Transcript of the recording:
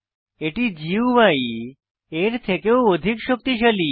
এটি গুই এর থেকেও অধিক শক্তিশালী